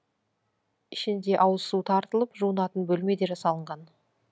ішінде ауызсу тартылып жуынатын бөлме де жасалынған